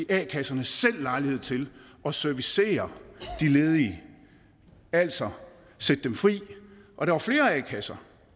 a kasserne selv lejlighed til at servicere de ledige altså at sætte dem fri og der var flere a kasser